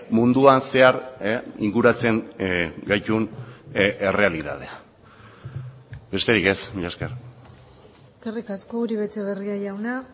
munduan zehar inguratzen gaitun errealitatea besterik ez mila esker eskerrik asko uribe etxebarria jauna